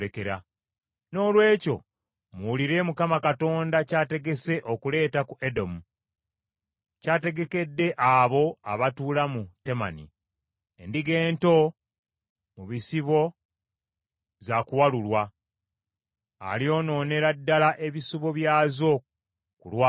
Noolwekyo, muwulire Mukama Katonda kyategese okuleeta ku Edomu, kyategekedde abo abatuula mu Temani. Endiga ento mu bisibo za kuwalulwa, alyonoonera ddala ebisibo byazo ku lwabwe.